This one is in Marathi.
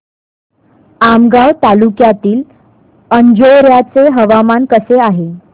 आमगाव तालुक्यातील अंजोर्याचे हवामान कसे आहे